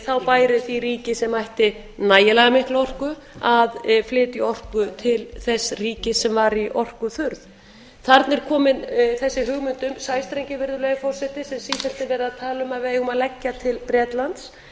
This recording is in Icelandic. þá bæri því ríki sem ætti nægilega mikla orku að flytja orku til þess ríkis sem var í orkuþurrð þarna er komin þessi hugmynd um sæstrenginn virðulegi forseti sem sífellt er verið að tala um að við eigum að leggja til bretlands